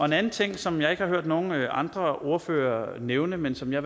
den anden ting som jeg ikke har hørt nogen andre ordførere nævne men som jeg